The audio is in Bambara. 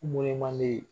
man di